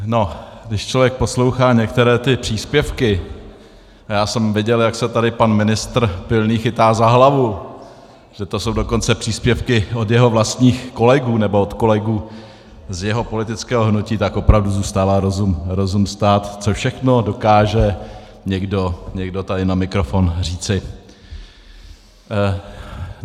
No, když člověk poslouchá některé ty příspěvky, a já jsem viděl, jak se tady pan ministr Pilný chytá za hlavu, že to jsou dokonce příspěvky od jeho vlastních kolegů nebo od kolegů z jeho politického hnutí, tak opravdu zůstává rozum stát, co všechno dokáže někdo taky na mikrofon říci.